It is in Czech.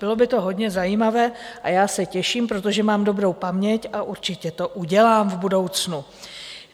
Bylo by to hodně zajímavé a já se těším, protože mám dobrou paměť, a určitě to udělám v budoucnu.